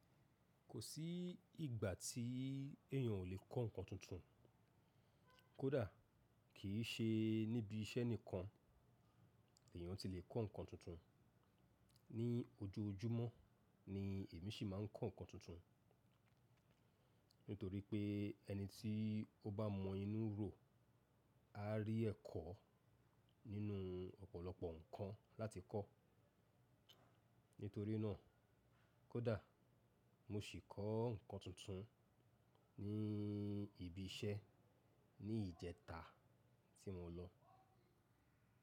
Kò sí ìgbà tí èèyàn ò lè kọ́ nǹkan tuntun, kódà kì ṣe níbi iṣẹ́ nìkan èèyàn ti lè kọ́ ǹkan tuntun. Ni ojoójúmọ́ ni èmi sì máa ń kọ́ nǹkan tuntun, nítorí pé ẹni tí ó bá inu rò á rí ẹ̀kọ́ nínú ọ̀pọ̀lọpọ̀ nǹkan láti kọ́. Nítorí náà kódà mo sì kọ́ nǹkan tuntun ní ibi iṣẹ́ ní ìjẹta tí mo lọ.